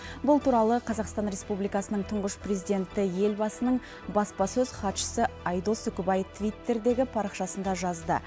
бұл туралы қазақстан республикасының тұңғыш президенті елбасының баспасөз хатшысы айдос үкібай твиттірдегі парақшасында жазды